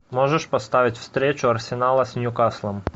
можешь поставить встречу арсенала с ньюкаслом